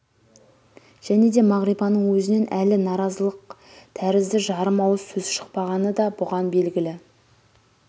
және де мағрипаның өзінен әлі наразылықтәрізді жарым ауыз сөз шықпағаны да бұған белгілі